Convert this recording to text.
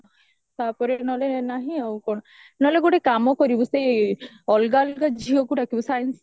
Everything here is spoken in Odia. ତାପରେ ନହେଲେ ନାହିଁ ଆଉ କଣ ନହେଲେ ଗୋଟେ କାମ କରିବି ସେଇ ଅଲଗା ଅଲଗା ଝିଅକୁ ଡାକିବୁ science